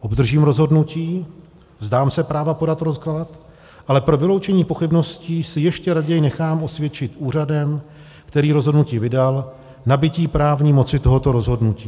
Obdržím rozhodnutí, vzdám se práva podat rozklad, ale pro vyloučení pochybností si ještě raději nechám osvědčit úřadem, který rozhodnutí vydal, nabytí právní moci tohoto rozhodnutí.